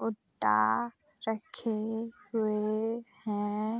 भुट्टा रखे हुए हैं।